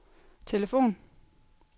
telefon